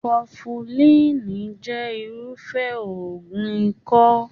Kọfulíiní jẹ irufẹ òògùn ikọ́.